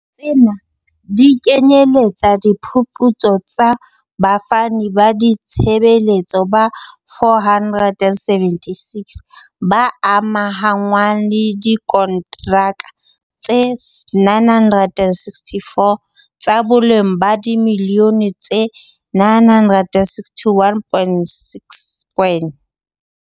Tsena di kenyeletsa diphuputso tsa bafani ba ditshebeletso ba 476, ba amahanngwang le diko ntraka tse 964, tsa boleng ba dimiliyone tse R961.6.